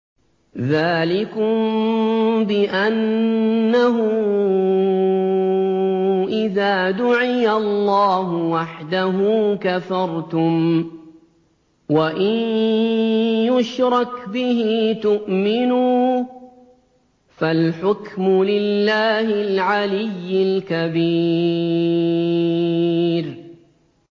ذَٰلِكُم بِأَنَّهُ إِذَا دُعِيَ اللَّهُ وَحْدَهُ كَفَرْتُمْ ۖ وَإِن يُشْرَكْ بِهِ تُؤْمِنُوا ۚ فَالْحُكْمُ لِلَّهِ الْعَلِيِّ الْكَبِيرِ